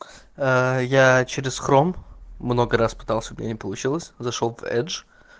а я через хром много раз пытался у меня не получилось зашёл пдж